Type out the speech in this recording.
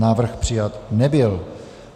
Návrh přijat nebyl.